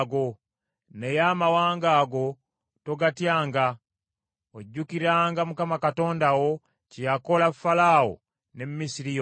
Naye amawanga ago togatyanga; ojjukiranga Mukama Katonda wo kye yakola Falaawo ne Misiri yonna.